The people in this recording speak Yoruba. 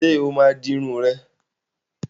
Sọ ma di irun ẹ?